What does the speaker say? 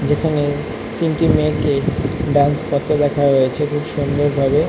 যেখানে তিনটি মেয়েকে ডান্স করতে দেখা হয়েছে খুব সুন্দর ভাবে।